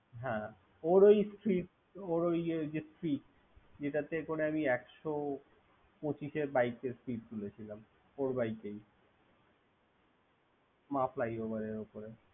হ্যা ওর ওই স্ফিড ওর ওই যে স্ফিড যেটাতে করে আমি একশত পচিশ এর বাইকের স্পিড তুলেছিলাম ওর বাইক দিয়েই মা ফ্লাইওভারের ওপরে।